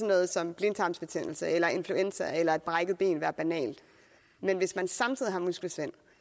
noget som blindtarmsbetændelse eller influenza eller et brækket ben være banalt men hvis man samtidig har muskelsvind